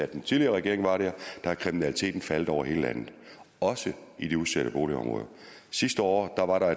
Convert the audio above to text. den tidligere regering at kriminaliteten er faldet over hele landet også i de udsatte boligområder sidste år